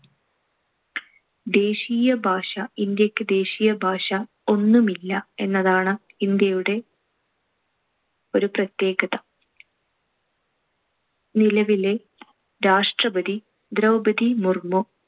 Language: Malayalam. ദേശീയ ഭാഷ, ഇന്ത്യക്ക് ദേശീയ ഭാഷ ഒന്നുമില്ല എന്നതാണ് ഇന്ത്യയുടെ ഒരു പ്രത്യേകത. നിലവിലെ രാഷ്‌ട്രപതി ദ്രൗപദി മുർമു.